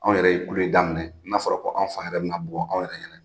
Anw yɛrɛ ye kule daminɛ, n'a fɔra ko an fan yɛrɛ bɛna bugɔ anw yɛrɛ ɲɛna.